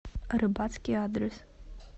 рыбацкий адрес